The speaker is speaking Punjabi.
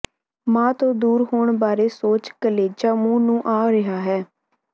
ਮਾਂ ਤੋਂ ਦੂਰ ਹੋਣ ਬਾਰੇ ਸੋਚ ਕਲੇਜ਼ਾ ਮੂੰਹ ਨੂੰ ਆ ਰਿਹਾ ਹੈ